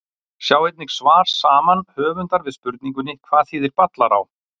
Sjá einnig svar saman höfundar við spurningunni Hvað þýðir Ballará?